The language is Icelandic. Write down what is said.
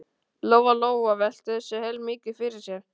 Lóa Lóa velti þessu heilmikið fyrir sér.